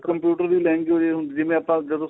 computer ਦੀ language ਹੁੰਦੀ ਏ ਜਿਵੇਂ ਆਪਾਂ